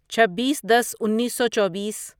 چھبیس دس انیسو چوبیس